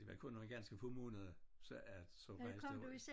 Det var kun nogle ganske få måneder så at så rejste